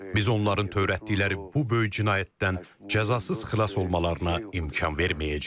Biz onların törətdikləri bu böyük cinayətdən cəzasız xilas olmalarına imkan verməyəcəyik.